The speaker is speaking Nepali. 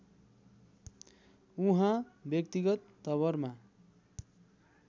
उहाँ व्यक्तिगत तवरमा